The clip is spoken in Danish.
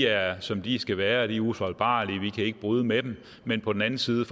er som de skal være og at de er ufejlbarlige vi kan ikke bryde med dem men på den anden side